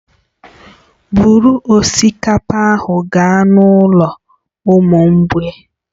Buru osikapa ahụ gaa n'ụlọ ụmụ mgbei